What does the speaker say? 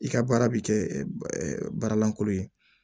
I ka baara bɛ kɛ baara lankolon ye